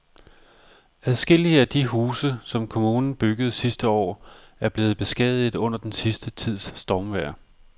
Adskillige af de huse, som kommunen byggede sidste år, er blevet beskadiget under den sidste tids stormvejr.